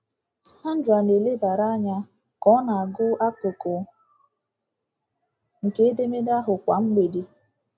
Sandra na-elebara anya ka ọ na-agụ akụkụ nke edemede ahụ kwa mgbede.